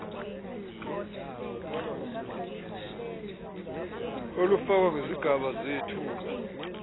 olufakwa ngezigaba zethuba